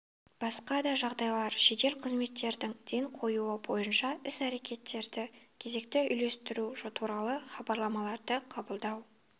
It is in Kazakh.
басқа да жағдайлар жедел қызметтердің ден қоюы бойынша іс әрекеттерді кезекті үйлестіру туралы хабарламаларды қабылдау